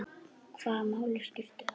Hvaða máli skipti það?